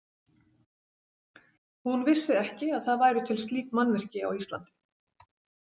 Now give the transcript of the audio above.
Hún vissi ekki að það væru til slík mannvirki á Íslandi.